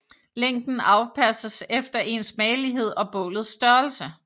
Længden afpasses efter ens magelighed og bålets størrelse